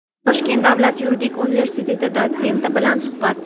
Toshkent davlat yuridik universiteti dotsenti bilan suhbat.